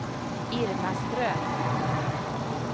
Irma Ström